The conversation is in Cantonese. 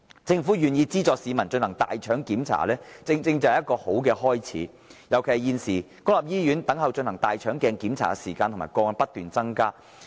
政府願意資助市民進行大腸鏡檢查，正正便是好的開始，尤其現時在公立醫院輪候進行大腸鏡檢查的時間和個案不斷增加。